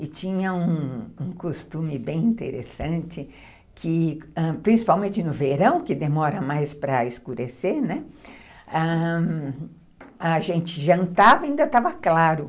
e tinha um costume bem interessante que, principalmente no verão, que demora mais para escurecer, né, ãh, a gente jantava e ainda estava claro.